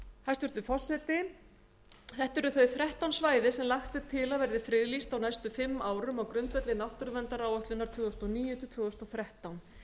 hæstvirtur forseti þetta eru þau þrettán svæði sem lagt er til að verði friðlýst á næstu fimm árum á grundvelli náttúruverndaráætlunar tvö þúsund og níu til tvö þúsund og þrettán